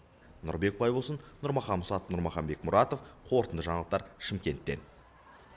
нұрбек байбосын нұрмахан мұсатов нұрмахан бекмұратов қорытынды жаңалықтар шымкенттен